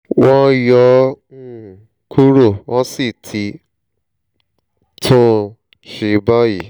wọ́n yọ ọ́ um kúrò wọ́n sì ti tún un ṣe báyìí